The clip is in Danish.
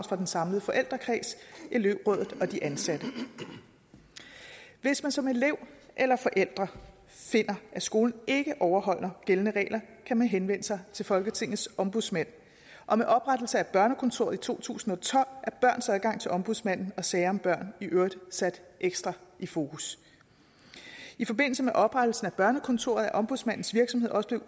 fra den samlede forældrekreds elevrådet og de ansatte hvis man som elev eller forælder finder at skolen ikke overholder gældende regler kan man henvende sig til folketingets ombudsmand og med oprettelsen af ombudsmandens børnekontor i to tusind og tolv er børns adgang til ombudsmanden og sager om børn i øvrigt sat ekstra i fokus i forbindelse med oprettelsen af børnekontoret er ombudsmandens virksomhed også